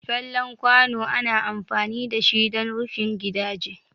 Fallen kwano ana amfani dashi dan rufin gidaje.